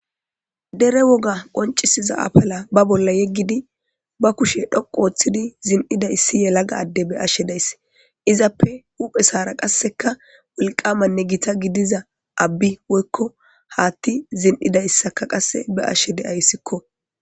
Dere woga qonccisiza afala ba bolla yeggiddi, ba kushen tsoqqu ottidi zin'ida issi yelaga adde be'ashe days. Izappe huphpheza qassikka, wolqqamanne gita giddiza abbi woykko haaththi zin'ida issakka qassi be'ashe daysiko.